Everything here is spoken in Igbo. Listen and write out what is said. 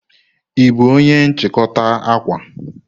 Ị bụ onye nchikota akwa?